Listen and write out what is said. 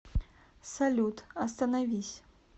салют остановись